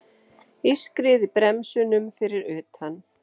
Ískrið í bremsunum fyrir utan.